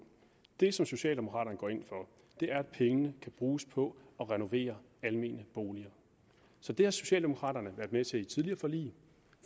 det som socialdemokraterne går ind for er at pengene kan bruges på at renovere almene boliger så det har socialdemokraterne været med til i tidligere forlig